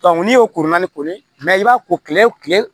n'i y'o koronana ko ye i b'a ko kile